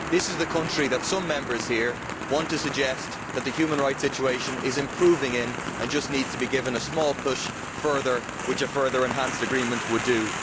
This is the country in which some Members here want to suggest that the human rights situation is improving and that it just needs to be given a small push further, which a further enhanced agreement would do.